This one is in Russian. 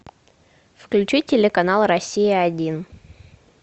включи телеканал россия один